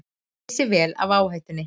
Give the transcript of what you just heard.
Vissu vel af áhættunni